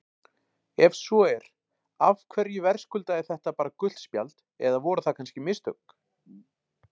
Ef svo er, af hverju verðskuldaði þetta bara gult spjald eða voru það kannski mistök?